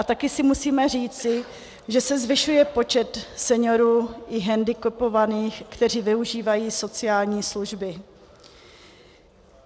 A také si musíme říci, že se zvyšuje počet seniorů i hendikepovaných, kteří využívají sociální služby.